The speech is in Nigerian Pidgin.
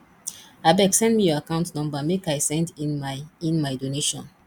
abeg send me your account number make i send in my in my donation